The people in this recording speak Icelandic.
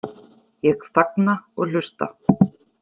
Ég þagna og hlusta.